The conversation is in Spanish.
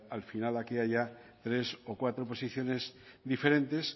al final aquí haya tres o cuatro posiciones diferentes